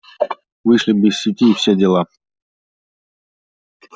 вышли бы из сети и все дела